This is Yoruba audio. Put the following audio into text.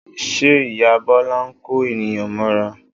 Ṣe ìyá Bọ́lá ń kó ènìyàn mọ́ra?